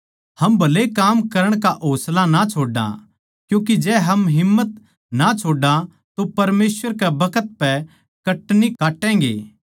हम भले काम करण का होसला ना छोड्डा क्यूँके जै हम हिम्मत ना छोड्डा तो परमेसवर के बखत पै कटनी काटैगें